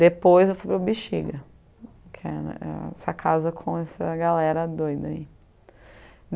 Depois eu fui para o Bixiga, que é é essa casa com essa galera doida aí.